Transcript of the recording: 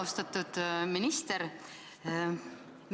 Austatud minister!